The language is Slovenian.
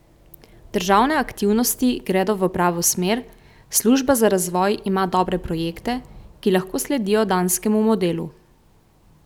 Državne aktivnosti gredo v pravo smer, služba za razvoj ima dobre projekte, ki lahko sledijo danskemu modelu.